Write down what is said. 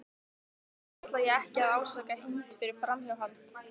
Þess vegna ætla ég ekki að ásaka Hind fyrir framhjáhald.